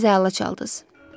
Bu gün siz əla çaldınız.